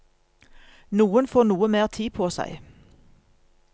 Noen får noe mer tid på seg.